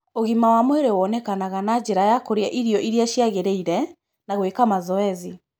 Ũgima wa mwĩrĩ wonekaga na njĩra ya kũrĩa irio iria ciagĩrĩire, na gwĩka mazoezi.